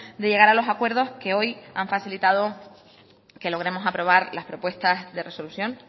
de llegar a los acuerdos que hoy han facilitado que logremos aprobar las propuestas de resolución